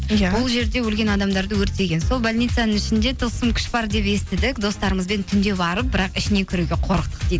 иә бұл жерде өлген адамдарды өртеген сол больницаның ішінде тылсым күш бар деп естідік достарымызбен түнде барып бірақ ішіне кіруге қорықтық дейді